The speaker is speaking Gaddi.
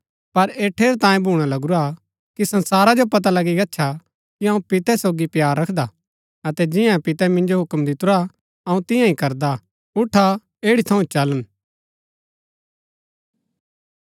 पर ऐह ठेरैतांये भूना लगूरा कि संसारा जो पता लगी गच्छा कि अऊँ पितै सोगी प्‍यार रखदा अतै जियें पितै मिन्जो हूक्म दितुरा अऊँ तियां ही करदा हा उठा ऐड़ी थऊँ चलन